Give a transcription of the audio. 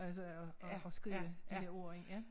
Altså at at at skrive de der ord ind ja